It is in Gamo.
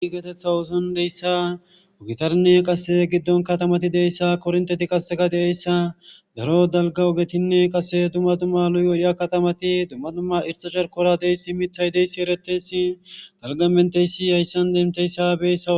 igatetha oson deyssa ogitarnne qase giddon katamati deyssa kornteti qasseka deeyssa daro dalga ogetinne qase dumma dumma luyoriya katamati dumma dumma irxachar kora deyssi mithay deyssi ereteysi dalgamenteysi yayssan demteyssa beyssa